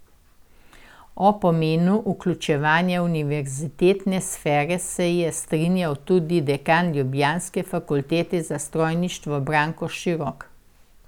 O pomenu vključevanja univerzitetne sfere se je strinjal tudi dekan ljubljanske fakultete za strojništvo Branko Širok.